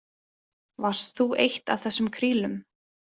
Varst þú eitt af þessum krílum?